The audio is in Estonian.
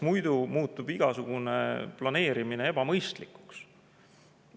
Muidu muutub igasugune planeerimine ebamõistlikuks.